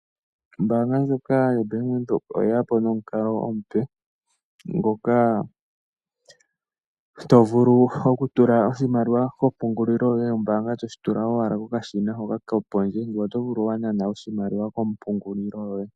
Ombaanga ndjoka yoBank Windhoek oyeya po nomukalo omupe, ngoka tovulu okutula oshimaliwa kompungulilo yoye yombaanga toshi tula owala kokashina hoka ko pondje, ngwee otovulu wanana oshimaliwa kompungulilo yoye.